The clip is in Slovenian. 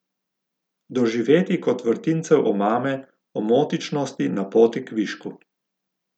Doživetij kot vrtincev omame, omotičnosti na poti k višku.